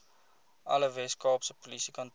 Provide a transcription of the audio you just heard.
alle weskaapse polisiekantore